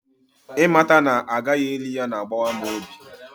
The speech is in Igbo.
ịmata na a gaghị eli ya na-agbawa m obi